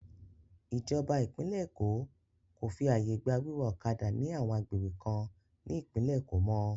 Ìjọba ìpínlẹ̀ Èkó kò fi àyè gba wíwa ọ̀kadà ní àwọn agbègbè kan ní ìpínlẹ̀ Èkó mọ́.